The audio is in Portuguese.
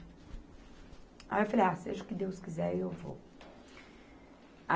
Aí eu falei, ah, seja o que Deus quiser, eu vou. A